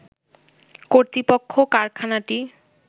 কর্তৃপক্ষ কারখানাটি